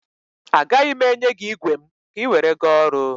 A gaghị m enye gị igwe m ka ị were gaa ọrụ.